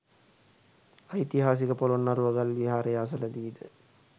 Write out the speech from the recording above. ඓතිහාසික පොළොන්නරුව ගල් විහාරය අසලදීද